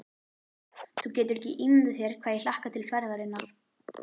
Þú getur ekki ímyndað þér hvað ég hlakka til ferðarinnar.